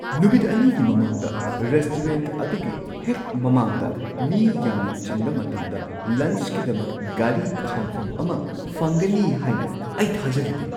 ꯅꯨꯃꯤꯠ ꯲ꯒꯤ ꯃꯃꯥꯡꯗ ꯔꯦꯁꯇꯨꯔꯦꯟꯠ ꯑꯗꯨꯒꯤ ꯍꯦꯛ ꯃꯃꯥꯡꯗ ꯃꯤ ꯌꯥꯝꯅ ꯆꯤꯟꯕ ꯃꯇꯝꯗ ꯂꯟꯆꯀꯤꯗꯃꯛ ꯒꯥꯔꯤ ꯈꯥꯝꯐꯝ ꯑꯃ ꯐꯪꯒꯅꯤ ꯍꯥꯏꯅ ꯑꯩ ꯊꯥꯖꯔꯨꯗꯦ꯫